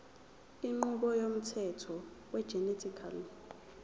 inqubo yomthetho wegenetically